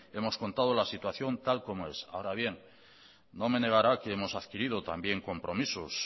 hemos contado la situación tal como es ahora bien no me negará que hemos adquirido también compromisos